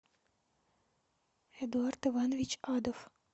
эдуард иванович адов